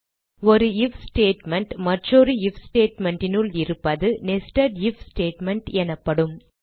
ஒரு if statement மற்றொரு if statement னுள் இருப்பது nested ஐஎஃப் ஸ்டேட்மெண்ட் எனப்படும்